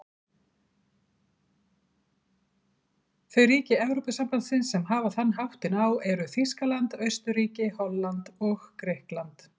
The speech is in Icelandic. Þau ríki Evrópusambandsins sem hafa þann háttinn á eru Þýskaland, Austurríki, Holland og Grikkland.